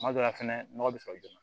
Kuma dɔ la fɛnɛ nɔgɔ bɛ sɔrɔ joona